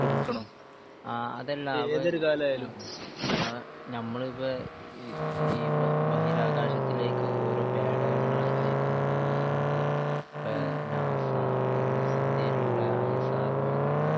ആഹ് അതല്ല അപ്പൊ ഇപ്പൊ ഏഹ് ഞമ്മളിപ്പോ ഈ ഈ ബഹിരാകാശത്തിലേക്ക് ഓരോ പേടകങ്ങൾ അയക്കുന്നുണ്ട്. ഈ ഈ ഇന്ത്യ പേ നാസാ ഇന്ത്യയിലുള്ള ഐ എസ് ആർ ഒ എന്നുള്ള